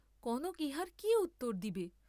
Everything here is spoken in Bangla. কনক ইহার কি উত্তর দিবে?